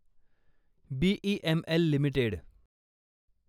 BEML limited